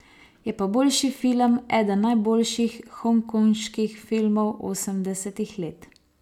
Je pa boljši film, eden najboljših hongkonških filmov osemdesetih let.